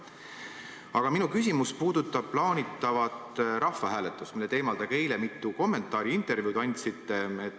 Aga minu küsimus puudutab plaanitavat rahvahääletust, mille teemal te ka eile mitu kommentaari ja intervjuud andsite.